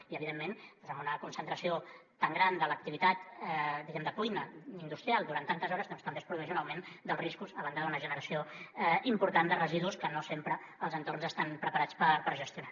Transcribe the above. i evidentment doncs amb una concentració tan gran de l’activitat diguem ne de cuina industrial durant tantes hores doncs també es produeix un augment dels riscos a banda d’una generació important de residus que no sempre els entorns estan preparats per gestionar